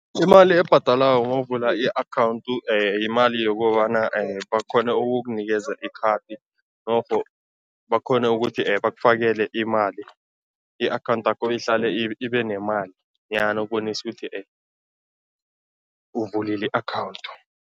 Imali ebhadalwako nawuvula i-account yimali yokobana bakghone ukukunikeza ikhadi norho bakghone ukuthi bakufakele imali, i-account yakho ihlale ibe nemali ukubonisa ukuthi uvulile i-account.